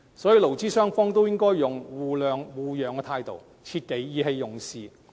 所以，勞資雙方都應該採取互諒互讓的態度，切忌意氣用事。